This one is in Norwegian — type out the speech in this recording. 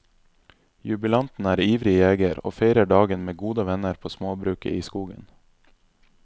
Jubilanten er ivrig jeger, og feirer dagen med gode venner på småbruket i skogen.